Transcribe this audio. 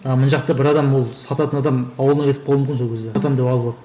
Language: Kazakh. ал мына жақта бір адам ол сататын адам ауылына кетіп қалуы мүмкін сол кезде сатамын деп алып алып